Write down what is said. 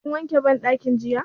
Ka wanke banɗakin jiya?